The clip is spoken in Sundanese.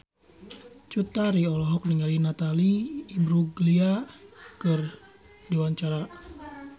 Cut Tari olohok ningali Natalie Imbruglia keur diwawancara